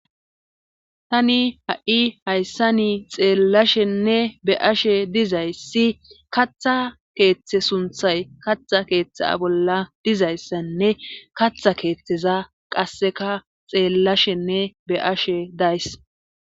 tani ha7i hayssa nii xeellashenne be ashe dizayssi katha keeththe sunthay katha keeththa bolla dizayssanne katha keeththeza qasseka xeellashenne be ashe days